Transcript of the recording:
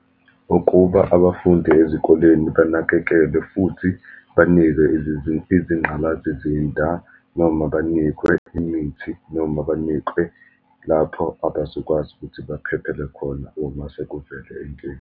Ukuba abafundi ezikoleni banakekelwe, futhi banikwe izingqalazizinda, noma banikwe imithi, noma banikwe lapho abazokwazi ukuthi baphephele khona uma sekuvele inkinga.